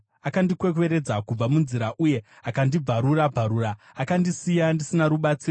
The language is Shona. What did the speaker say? akandikwekweredza kubva munzira uye akandibvarura-bvarura akandisiya ndisina mubatsiri.